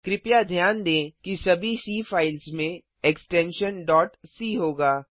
कृपया ध्यान दें कि सभी सी फ़ाइल्स में एक्सटेंशन डॉट सी होगा